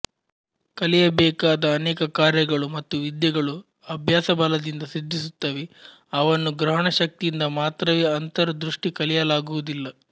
ಕಲಿಯಬೇಕಾದ ಅನೇಕ ಕಾರ್ಯಗಳು ಮತ್ತು ವಿದ್ಯೆಗಳು ಅಭ್ಯಾಸಬಲದಿಂದ ಸಿದ್ಧಿಸುತ್ತವೆ ಅವನ್ನು ಗ್ರಹಣಶಕ್ತಿಯಿಂದ ಮಾತ್ರವೇ ಅಂತರ್ ದೃಷ್ಟಿ ಕಲಿಯಲಾಗುವುದಿಲ್ಲ